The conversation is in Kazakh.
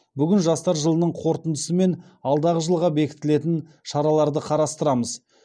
бүгін жастар жылының қорытындысы мен алдағы жылға бекітілетін шараларды қарастырамыз